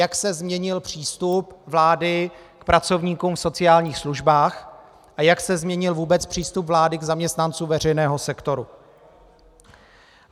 Jak se změnil přístup vlády k pracovníkům v sociálních službách a jak se změnil vůbec přístup vlády k zaměstnancům veřejného sektoru.